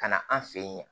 Ka na an fe yen